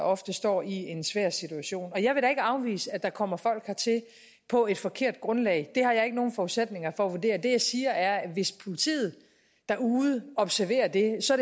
ofte står i en svær situation jeg vil da ikke afvise at der kommer folk hertil på et forkert grundlag det har jeg ikke nogen forudsætninger for at vurdere men det jeg siger er at hvis politiet derude observerer det så